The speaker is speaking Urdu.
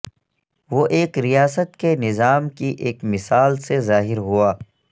وہ ایک ریاست کے نظام کی ایک مثال سے ظاہر ہوا